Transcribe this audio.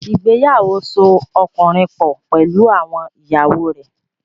Ìgbéyàwó so ọkùnrin pọ̀ pẹ̀lú àwọn ìyàwó rẹ̀.